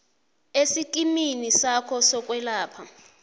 esikimini sakho sokwelapha